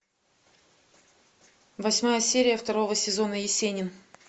восьмая серия второго сезона есенин